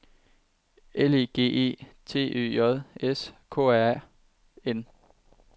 L E G E T Ø J S K R A N